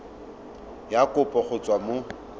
ya kopo go tswa mo